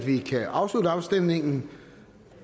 afslutter afstemningen